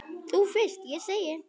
Þú fyrst, segi ég.